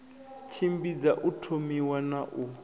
tshimbidza u thomiwa na u